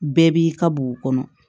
Bɛɛ b'i ka b'u kɔnɔ